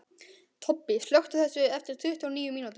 Tobbi, slökktu á þessu eftir tuttugu og níu mínútur.